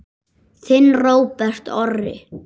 Þinn Róbert Orri.